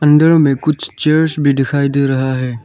अंदर में कुछ चेयर्स भी दिखाई दे रहा है।